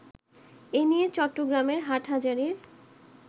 এ নিয়ে চট্টগ্রামের হাটহাজারির